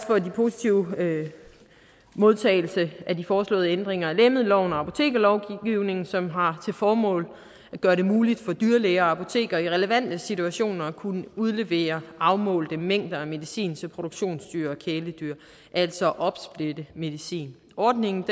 for den positive modtagelse af de foreslåede ændringer af lægemiddelloven og apotekerlovgivningen som har til formål at gøre det muligt for dyrlæger og apotekere i relevante situationer at kunne udlevere afmålte mængder af medicin til produktionsdyr og kæledyr altså at opsplitte medicin ordningen